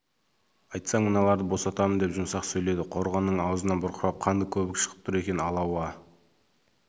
айтсаң мыналарды босатамын деп жұмсақ сөйледі қорғанның аузынан бұрқырап қанды көбік шығып тұр екен алла уа